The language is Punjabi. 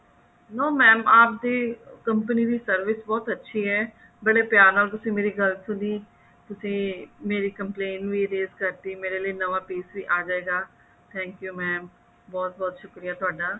no mam ਆਪਦੀ company ਦੀ service ਬਹੁਤ ਅੱਛੀ ਹੈ ਬੜੇ ਪਿਆਰ ਨਾਲ ਤੁਸੀਂ ਮੇਰੀ ਗੱਲ ਸੁਣੀ ਤੁਸੀਂ ਮੇਰੀ complaint ਵੀ raise ਕਰਤੀ ਨਵਾਂ piece ਵੀ ਅਜੇਗਾ thank you mam ਬਹੁਤ ਬਹੁਤ ਸ਼ੁਕਰੀਆ ਤੁਹਾਡਾ